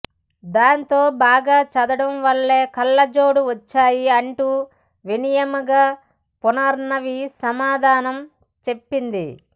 దాంతో బాగా చదవడం వల్లే కళ్లోజోడు వచ్చాయి అంటూ వినయంగా పునర్నవి సమాధానం చెప్పింది